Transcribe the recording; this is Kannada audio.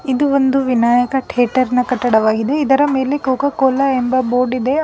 ಇದು ಒಂದು ವಿನಾಯಕ ತೇಟರ್ನ ಕಟ್ಟಡವಾಗಿದೆ ಇದರ ಮೇಲೆ ಕೊಕೊ ಕೋಲಾ ಎಂಬ ಬೋರ್ಡಿದೆ.